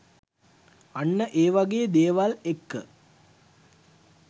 අන්න ඒවගේ දේවල් එක්ක